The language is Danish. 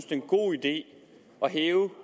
det er en god idé at hæve